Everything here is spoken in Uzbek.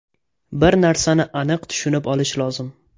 Bir narsani aniq tushunib olish lozim.